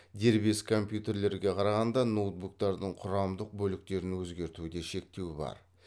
дербес компьютерлерге қарағанда ноутбуктардың құрамдық бөліктерін өзгертуде шектеу бар